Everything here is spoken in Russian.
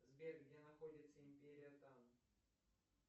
сбер где находится империя тан